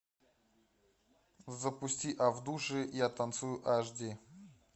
запусти а в душе я танцую аш ди